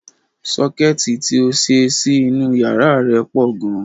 Sọ́kẹ́ẹ̀tì ti ó ṣe sí inú yàrá rẹ̀ pọ̀ gan.